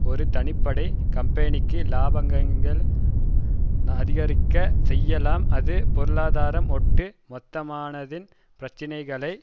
ஒரு தனிப்பட்ட கம்பெனிக்கு இலாபங்களை அதிகரிக்க செய்யலாம் அது பொருளாதாரம் ஒட்டு மொத்தமானதின் பிரச்சினைகளை